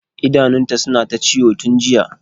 idanunta suna ta ciwon tun jiya